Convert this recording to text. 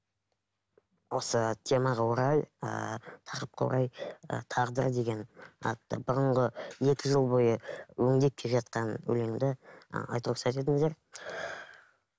осы темаға орай ыыы тақырыпқа орай ы тағдыр деген атты бұрынғы екі жыл бойы өңдеп келе жатқан өлеңімді ыыы айтуға рұқсат етіңіздер